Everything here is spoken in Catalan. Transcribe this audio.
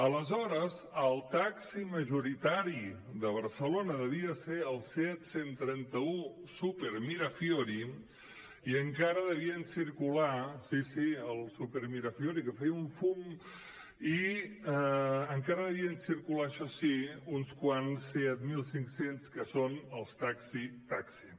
aleshores el taxi majoritari de barcelona devia ser el seat cent i trenta un supermirafiori i encara devien circular sí sí el supermirafiori que feia un fum això sí uns quants seat mil cinc cents que són els taxi taxi